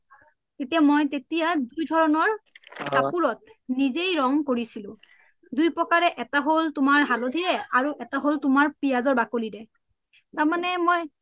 তেতিয়া মই দুই ধাৰণৰ কাপুৰত নিজেই ৰনং কৰিছিলো দুই প্ৰকাৰে এটা হল তুমাৰ হালধিৰে আৰু এটা হল তুমাৰ পিযাশৰ বাকলিৰে তামানে মই